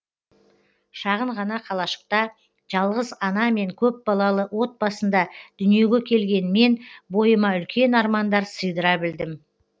шағын ғана қалашықта жалғыз ана мен көп балалы отбасында дүниеге келген мен бойыма үлкен армандар сыйдыра білдім